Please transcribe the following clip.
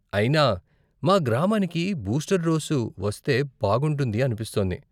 అయినా, మా గ్రామానికి బూస్టర్ డోసు వస్తే బాగుంటుంది అనిపిస్తోంది.